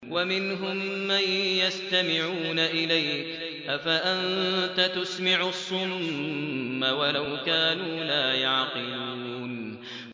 وَمِنْهُم مَّن يَسْتَمِعُونَ إِلَيْكَ ۚ أَفَأَنتَ تُسْمِعُ الصُّمَّ وَلَوْ كَانُوا لَا يَعْقِلُونَ